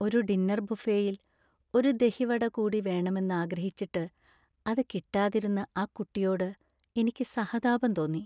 ഒരു ഡിന്നർ ബുഫേയിൽ ഒരു ദഹി വട കൂടി വേണമെന്ന് ആഗ്രഹിച്ചിട്ട് അത് കിട്ടാതിരുന്ന ആ കുട്ടിയോട് എനിക്ക് സഹതാപം തോന്നി.